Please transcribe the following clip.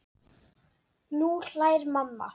Nú hlær mamma.